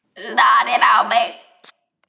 Starir á mig.